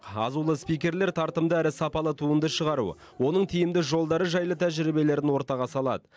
азулы спикерлер тартымды әрі сапалы туынды шығару оның тиімді жолдары жайлы тәжірибелерін ортаға салады